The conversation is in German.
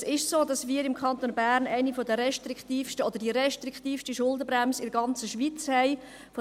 Es ist so, dass wir im Kanton Bern eine der restriktivsten oder die restriktivste Schuldenbremse in der ganzen Schweiz haben.